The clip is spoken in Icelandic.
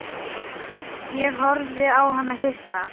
Ég horfði á hann hissa.